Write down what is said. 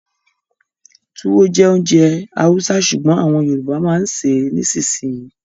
Túwó jẹ́ ounjẹ Hausa sùgbón àwọn Yorùbá ma ń ṣè é nisinyi